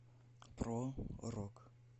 про рок